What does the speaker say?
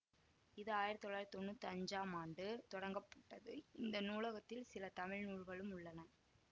இது ஆயிரத்தி தொள்ளாயிரத்தி தொன்னூத்தி அஞ்சாம் ஆண்டு தொடங்கப்பட்டது இந்த நூலகத்தில் சில தமிழ் நூல்களும் உள்ளன